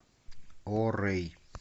о рэй